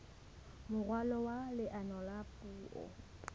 moralo wa leano la puo